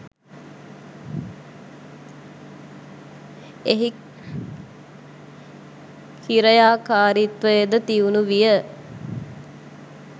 එහි කි්‍රයාකාරිත්වයද තියුණු වීය.